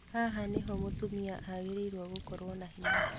Haha niho mutumia agĩrĩire gũkorwo na hinya